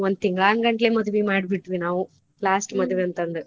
ಒಂದ ತಿಂಗಳಾನಗಂಟ್ಲೆ ಮದ್ವಿ ಮಾಡ್ಬಿಟ್ವಿ ನಾವು last ಮದ್ವಿ ಅಂತ ಅಂದ್.